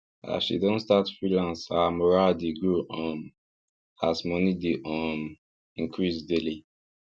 as she don start freelance her moral dey grow um as money dey um increase daily